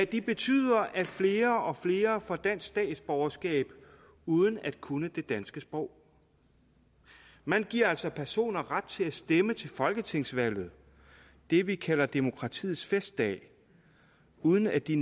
de betyder at flere og flere får dansk statsborgerskab uden at kunne det danske sprog man giver altså personer ret til at stemme til folketingsvalget det vi kalder demokratiets festdag uden at de